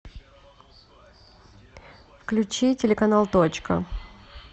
включи телеканал точка